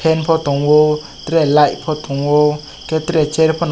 kom po tango tere light po tango ke tere chair pono.